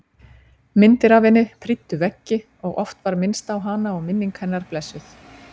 Myndir af henni prýddu veggi og oft var minnst á hana og minning hennar blessuð.